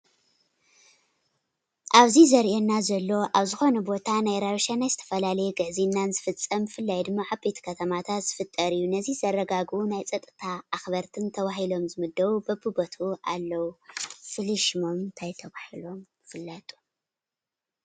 አብዚ ዘርእየና ዘሎ አብ ዝኮነ ቦታ ናይ ራብሻና ናይ ዝተፈላለየ ግዕዝይናን ዝፍፀም ብፍላይ ድማ አብ ዓበይቲ ከተማታት ዝፍጠር እዩ፡፡ ነዚ ዘረጋግፁ ናይ ፀጥታ አክበርቲን ተባሂሎም ዝምደቡ በቢቦትኡ አለው፡፡ ፍሉይ ሽሞም እንታይ ተባሂሉ ይፍለጥ?